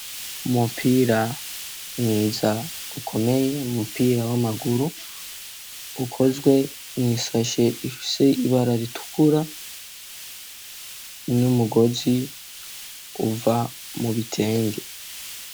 Umupira mwiza ukomeye, Umupira w'amaguru ukozwe mw'isashe ifise ibara ritukura n'umugozi uva mu bitenge.